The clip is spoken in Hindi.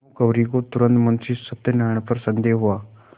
भानुकुँवरि को तुरन्त मुंशी सत्यनारायण पर संदेह हुआ